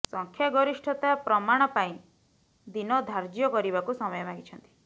ସଂଖ୍ୟା ଗରିଷ୍ଠତା ପ୍ରମାଣ ପାଇଁ ଦିନ ଧାର୍ଯ୍ୟ କରିବାକୁ ସମୟ ମାଗିଛନ୍ତି